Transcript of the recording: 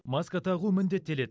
маска тағу міндеттеледі